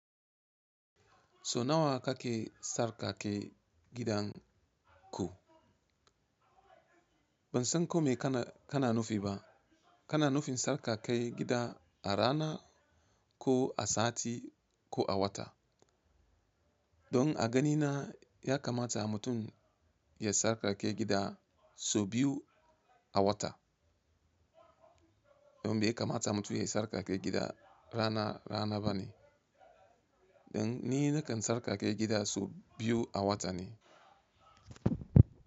So nawa kake tsarkake gidan ku? Ban san kome kana nufi ba. Kana nufin tsarkake gida a rana ko a sati ko a wata? Don a ganina ya kamata mutum ya sarkake gida sau biyu a wata. Don bai kamata mutum ya sarkake gida rana rana bane. Don ni nakan sarkake gida sau biyu a wata ne.